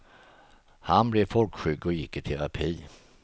Han blev folkskygg och gick i terapi.